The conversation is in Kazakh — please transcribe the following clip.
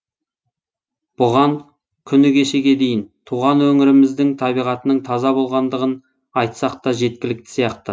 бұған күні кешеге дейін туған өңіріміздің табиғатының таза болғандығын айтсақ та жеткілікті сияқты